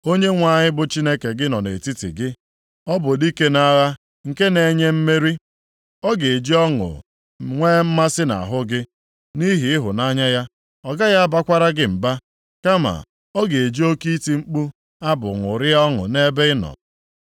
Onyenwe anyị bụ Chineke gị nọ nʼetiti gị, ọ bụ Dike nʼagha nke na-enye mmeri. Ọ ga-eji ọṅụ nwee mmasị na ahụ gị; nʼihi ịhụnanya ya, ọ gaghị abakwara gị mba, + 3:17 Maọbụ, ọ ga-eme ka ịdị ọhụrụ kama ọ ga-eji oke iti mkpu abụ ṅụrịa ọṅụ nʼebe ị nọ.”